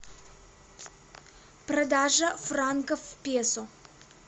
продажа франков в песо